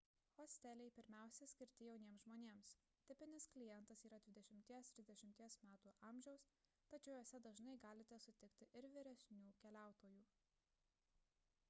hosteliai pirmiausia skirti jauniems žmonėms – tipinis klientas yra 20–30 m amžiaus tačiau juose dažnai galite sutikti ir vyresnių keliautojų